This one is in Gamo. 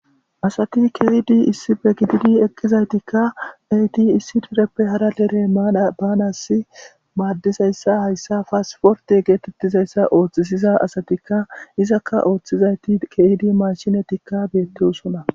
asati keyidi issibe gididi eqqizaytikka eyti issi tureppe hara lere baanassi maaddizayssa hayssa paasiforte geetettizayssa ooththisiza asatikka izakka ooththizayti keyidi mashinatikka beetteosona